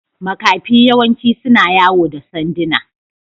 Makafi yawanci suna yawo da sanduna.